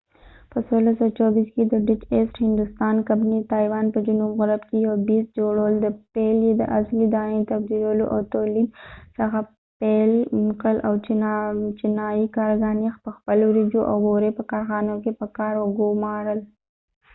په 1624 کې د ډچ ایسټ هندوستان کمپنۍ د تایوان په جنوب غرب کې یو بیس جوړول چې پيل یې د اصلي دانې د تبدیلولو او تولید څخه پيل کړل او چینایي کارګران یې پخپل د وریژو او بورې په کارخانو کې په کار وګومارل